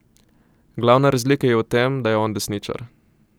Glavna razlika je v tem, da je on desničar.